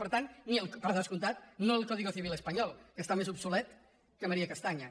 per tant per descomptat no el código civil espanyol que està més obsolet que maría castaña